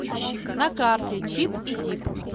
на карте чип и дип